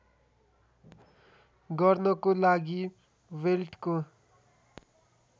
गर्नको लागि बेल्टको